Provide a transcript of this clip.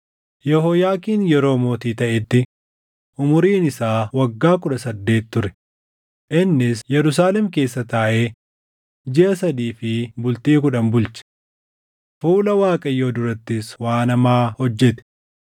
Yehooyaakiin yeroo mootii taʼetti umuriin isaa waggaa kudha saddeet ture; innis Yerusaalem keessa taaʼee jiʼa sadii fi bultii kudhan bulche. Fuula Waaqayyoo durattis waan hamaa hojjete.